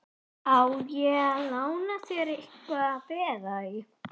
Á ég ekki að lána þér eitthvað að vera í?